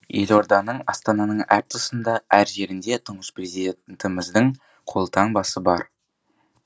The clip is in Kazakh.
елорданың астананың әр тұсында әр жерінде тұңғыш президентіміздің қолтаңбасы бар